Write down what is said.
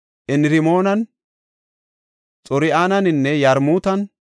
Enirmoonan, Xor7aninne Yarmutan,